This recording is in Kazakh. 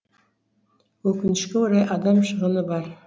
өкінішке орай адам шығыны бар